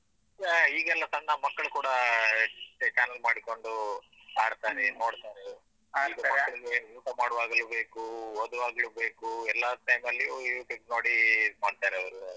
ಆ ಈಗೆಲ್ಲ ಸಣ್ಣ ಮಕ್ಕಳು ಕೂಡ ಚೆ channel ಮಾಡಿಕೊಂಡು ಆಡ್ತಾರೆ ನೋಡ್ತಾರೆ ಹಾಡ್ತಾರೆ ಈಗ ಮಕ್ಳಿಗೆ ಊಟ ಮಾಡುವಾಗಲೂ ಬೇಕು ಓದುವಾಗಲೂ ಬೇಕು ಎಲ್ಲ time ನಲ್ಲಿಯೂ YouTube ನೋಡಿ ಇದ್ ಮಾಡ್ತಾರೆ ಅವರು.